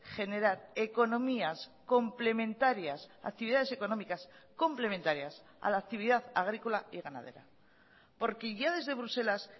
generar economías complementarias actividades económicas complementarias a la actividad agrícola y ganadera porque ya desde bruselas